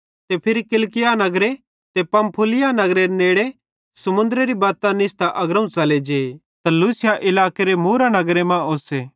फिरी किलिकिया नगरे ते पंफूलिया नगरेरे नेड़े समुन्द्रेरी बत्तां निस्तां अग्रोवं च़ले जे त लूसिया इलाकेरे मूरा नगर मां ओस्से